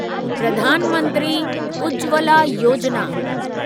Pradhan Mantri Ujjwala Yojana